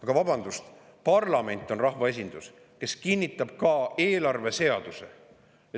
Aga vabandust, parlament on rahvaesindus, kes kinnitab ka eelarveseaduse.